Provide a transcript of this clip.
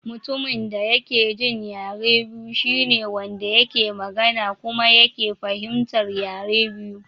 Mutumin da ya ke jin yare biyu shine Wanda yake magana kuma yake fahimtar yare biyu.